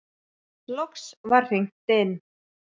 Loks var hringt inn.